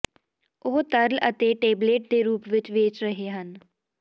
ਉਹ ਤਰਲ ਅਤੇ ਟੇਬਲੇਟ ਦੇ ਰੂਪ ਵਿੱਚ ਵੇਚ ਰਹੇ ਹਨ